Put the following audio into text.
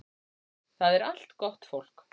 Það er allt gott fólk